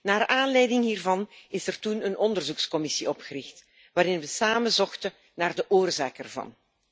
Naar aanleiding hiervan is er toen een onderzoekscommissie opgericht waarin we samen zochten naar de oorzaak ervan.